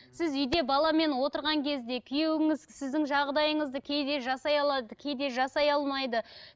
сіз үйде баламен отырған кезде күйеуіңіз сіздің жағдайыңызды кейде жасай алады кейде жасай алмайды